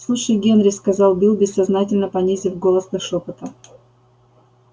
слушай генри сказал билл бессознательно понизив голос до шёпота